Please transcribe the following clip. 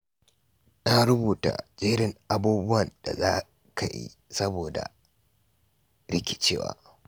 Ka rubuta jerin abubuwan da za ka yi, saboda rikicewa